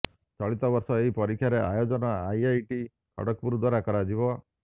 ଚଳିତ ବର୍ଷ ଏହି ପରୀକ୍ଷାର ଆୟୋଜନ ଆଇଆଇଟି ଖଡଗପୁର ଦ୍ବାରା କରାଯିବ